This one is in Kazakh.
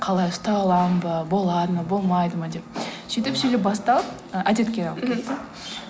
қалай ұстай аламын ба болады ма болмайды ма деп сөйтіп сөйтіп басталып әдетке